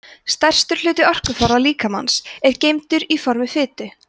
stærstur hluti orkuforða líkamans er geymdur í formi fitu